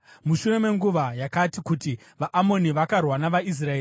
Mushure menguva yakati kuti, vaAmoni vakarwa navaIsraeri,